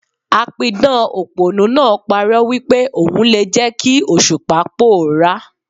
A pidàn òpònú náà pa'rọ́ wípé ò n le jẹ́ kí Òṣùpá pòórá.